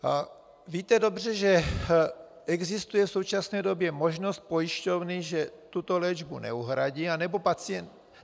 Víte dobře, že existuje v současné době možnost pojišťovny, že tuto léčbu neuhradí anebo pacient...